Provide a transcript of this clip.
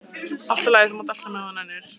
Allt í lagi, þú mátt elta mig ef þú nennir.